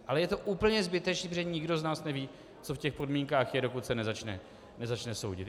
Ale je to úplně zbytečné, protože nikdo z nás neví, co v těch podmínkách je, dokud se nezačne soudit.